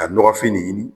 Ka nɔgɔfin nin ɲini